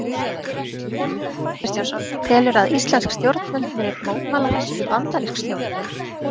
Jóhannes Kristjánsson: Telurðu að íslensk stjórnvöld muni mótmæla þessu við bandarísk stjórnvöld?